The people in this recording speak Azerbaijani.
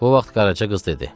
Bu vaxt Qaraça qız dedi: